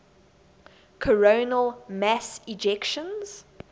coronal mass ejections